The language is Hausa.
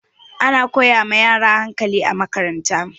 Ana koya ma yaro hakali a makaranta